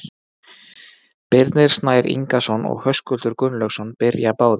Birnir Snær Ingason og Höskuldur Gunnlaugsson byrja báðir.